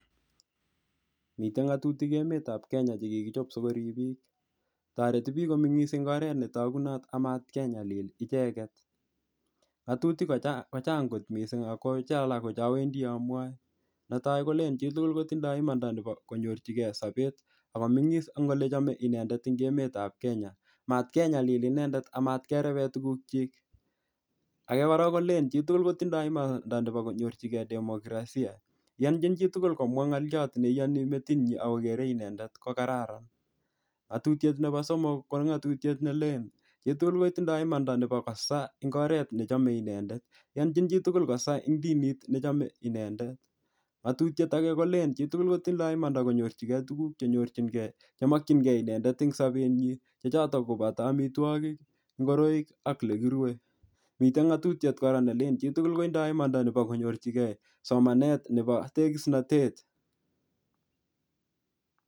Mitei ng'atutik emetab Kenya chekikichop sikorib biik. Toreti biik komeng'is eng' oret ne togunot, amatkenyalil icheket. Ngatutik kochang', kochand' kot missing ako che alak ko che awendi amwae. Netai kolen chitugul kotindoi imanda nebo konyorchikey sobet. Akomeng'is ing ole chame inendet ing emetab Kenya. Matkenyalil inendet, amatkerebe tuguk chik. Age kora kolen chitugul kotindoi imanda nebo konyorchikey demokraisia. Iyonchin chitugul komwa ng'oliot ne iyanchin metit nyi, akogere inendet ko kararan. Ngatutiet nebo somok, ko ng'atutiet nelen chitugul kotindoi imanda nebo kosaa ing oret nechome inendet. Iyonchiin chitugul kosaa ing dinit nechome inendet. Ngatutiet age kolen chitugul kotindoi imanda konyorchikey tuguk chenyorchinkey, chemokchinkeiy inendet eng sobet nyi. Che chotok koboto amitwogik, ngoroik, ak ole kirue. Mitei ng'atutiet kora nelen kolen chitugul kotindoi imanda nebo konyorchikey somanet nebo tegisnotet.